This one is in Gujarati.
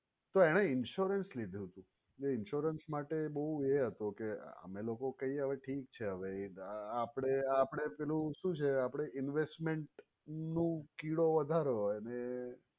તો એને insurance લીધું તે insurance માટે બોવ એ હતો કે અમે લોકો કહીએ હવે ઠીક છે હવે આપડે આપડે એટલું શું છે આપડે investment નો કીડો વધારે હોય એને but